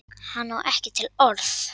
Hann á ekki til orð.